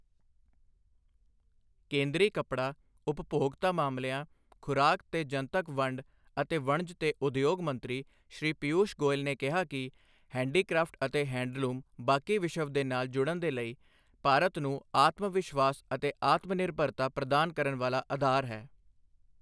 ਕੇਂਦਰੀ ਕੱਪੜਾ, ਉਪਭੋਗਤਾ ਮਾਮਲਿਆਂ, ਖੁਰਾਕ ਤੇ ਜਨਤਕ ਵੰਡ ਅਤੇ ਵਣਜ ਤੇ ਉਦਯੋਗ ਮੰਤਰੀ, ਸ਼੍ਰੀ ਪੀਯੂਸ਼ ਗੋਇਲ ਨੇ ਕਿਹਾ ਕਿ, ਹੈਂਡੀਕ੍ਰਾਫਟ ਅਤੇ ਹੈਂਡਲੂਮ ਬਾਕੀ ਵਿਸ਼ਵ ਦੇ ਨਾਲ ਜੁੜਣ ਦੇ ਲਈ, ਭਾਰਤ ਨੂੰ ਆਤਮਵਿਸ਼ਵਾਸ ਅਤੇ ਆਤਮਨਿਰਭਰਤਾ ਪ੍ਰਦਾਨ ਕਰਨ ਵਾਲਾ ਅਧਾਰ ਹੈ।